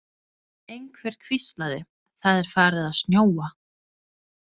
Einhver hvíslaði: Það er farið að snjóa